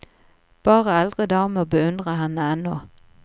Bare eldre damer beundrer henne ennå.